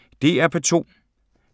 DR P2